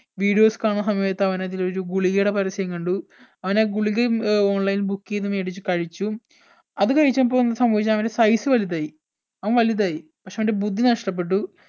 videos കാണുന്ന സമയത്ത് അവൻ അതിൽ ഒരു ഗുളികയുടെ പരസ്യം കണ്ടു അവൻ ആ ഗുളികയും ഏർ online ൽ book ചെയ്ത് മേടിച്ചു കഴിച്ചു അത് കഴിച്ചപ്പോ എന്ത് സംഭവിച്ചു അവന്റെ size വലുതായി അവൻ വലുതായി പക്ഷെ അവന്റെ ബുദ്ധി നഷ്ട്ടപ്പെട്ടു